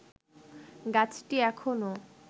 গাছটি এখনো